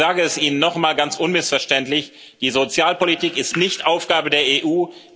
Ich sage es Ihnen noch einmal ganz unmissverständlich Die Sozialpolitik ist nicht Aufgabe der EU.